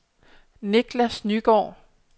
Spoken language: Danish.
Nicklas Nygaard